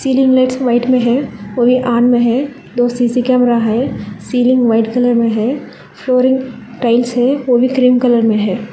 Ceiling light white में है और ये ऑन में है दो सी_सी_टी_वी कैमरा है सीलिंग व्हाइट कलर में है फ्लोरिंग टाइल्स है वो भी क्रीम कलर में है।